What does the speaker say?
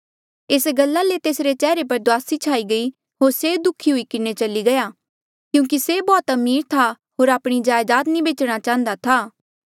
एस गल्ला ले तेसरे चेहरे पर दुआसी छाई गयी होर से दुःखी हुई किन्हें चली गया क्यूंकि से बौह्त अमीर था होर आपणी जायदाद नी बेचणा चाहन्दा था